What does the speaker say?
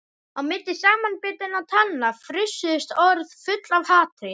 Á milli samanbitinna tanna frussuðust orð full af hatri.